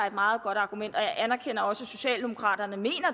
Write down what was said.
et meget godt argument og jeg anerkender også at socialdemokraterne mener